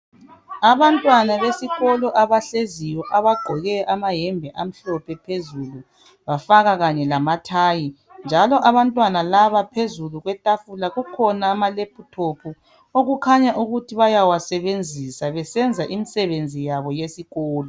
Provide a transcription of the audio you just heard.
Abantwana besikolo abahleziyo abagqoke amayembe amhlophe phezulu bafaka kanye lamathayi njalo abantwana laba phezulu kwetafula kukhona amalephuthophu okukhanya ukuthi bayawasebenzisa, besenza imsebenzi yabo yesikolo.